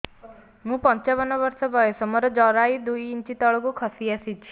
ମୁଁ ପଞ୍ଚାବନ ବର୍ଷ ବୟସ ମୋର ଜରାୟୁ ଦୁଇ ଇଞ୍ଚ ତଳକୁ ଖସି ଆସିଛି